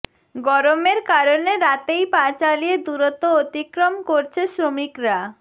গরমের কারণে রাতেই পা চালিয়ে দুরত্ব অতিক্রম করছে শ্রমিকরা